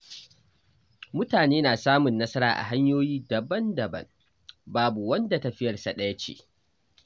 Mutane na samun nasara a hanyoyi daban-daban, babu wanda tafiyarsa ɗaya ce.